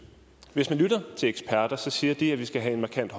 hvis man lytter til eksperter siger de at vi skal have en markant